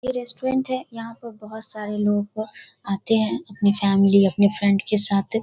ये रेस्टोरेंट है। यहाँ पर बोहत सारे लोग आते हैं अपने फॅमिली अपने फ्रेंड के साथ।